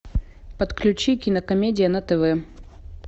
подключи кинокомедия на тв